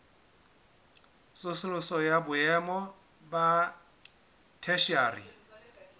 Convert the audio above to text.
tsosoloso ya boemo ba theshiari